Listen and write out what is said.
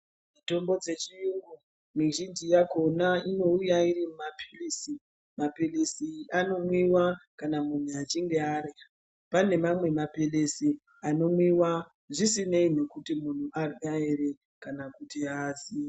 Tombo dzechiyungu mizhinji yakhona inouya iri mapilizi mapilizi anomwiwa kana muntu achinge arya pane mamwe mapilizi anomwiwa zvisinei nekuti munhu warya ere kana kuti aazi.